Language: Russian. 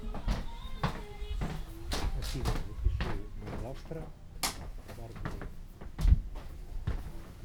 афина запиши на завтра к барберу